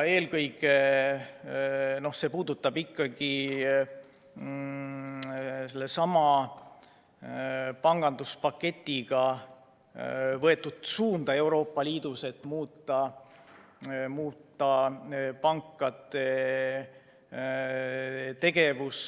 Eelkõige puudutab see ikkagi sellesama panganduspaketiga võetud suunda Euroopa Liidus, et muuta pankade tegevus,